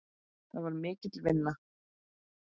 Það var mikil vinna.